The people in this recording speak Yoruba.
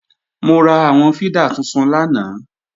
Mo ra àwọn fídà tuntun lánàá